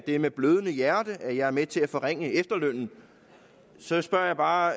er med blødende hjerte at jeg er med til at forringe efterlønnen så spørger jeg bare